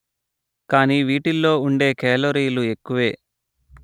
కానీ వీటిల్లో ఉండే కెలొరీలు ఎక్కువే